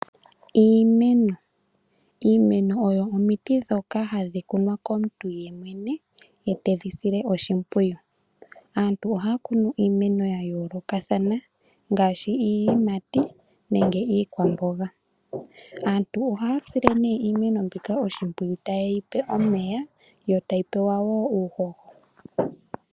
Iimeno Iimeno oyo omiti ndhoka hadhi kunwa komuntu yemwene, e tedhi sile oshimpwiyu. Aantu ohaya kunu iimeno ya yoolokathana ngaashi iiyimati nenge iikwamboga. Aantu ohaya sile nee iimeno mbika oshimpwiyu ta ye yi pe omeya, yo tayi pewa wo uuhoho.